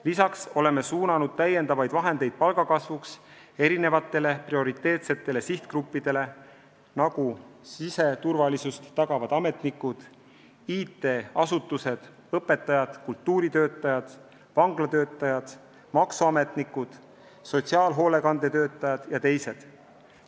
Lisaks oleme suunanud täiendavaid summasid prioriteetsete sihtgruppide palga kasvuks: need on siseturvalisust tagavad ametnikud, IT-asutuste töötajad, õpetajad, kultuuritöötajad, vanglatöötajad, maksuametnikud, sotsiaalhoolekande töötajad jt.